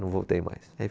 Não voltei mais.